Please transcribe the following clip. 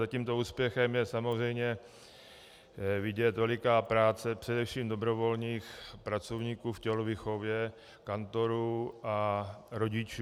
Za tímto úspěchem je samozřejmě vidět veliká práce především dobrovolných pracovníků v tělovýchově, kantorů a rodičů.